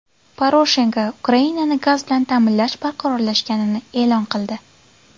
Poroshenko Ukrainani gaz bilan ta’minlash barqarorlashganini e’lon qildi.